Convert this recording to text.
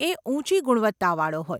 એ ઉંચી ગુણવત્તાવાળો હોય.